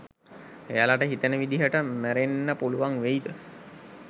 එයාලට හිතන විදියට මැරෙන්න පුළුවන් වෙයිද